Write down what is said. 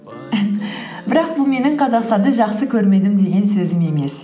бірақ бұл менің қзақстанды жақсы көрмедім деген сөзім емес